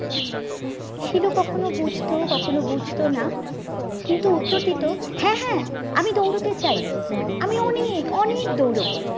শিলু কখনো বুঝতো কখনো বুঝতো না কিন্তু উত্তর দিতো হ্যাঁ হ্যাঁ আমি দৌড়োতে চাই আমি অনেক অনেক দৌড়োবো